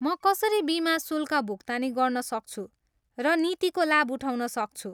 म कसरी बिमा शुल्क भुक्तानी गर्न सक्छु र नीतिको लाभ उठाउन सक्छु?